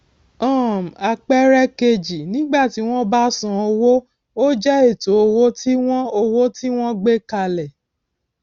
um àpẹẹrẹ kejì nígbà tí wón bá san owó ó jẹ ètò owó tí wọn owó tí wọn gbé kalẹ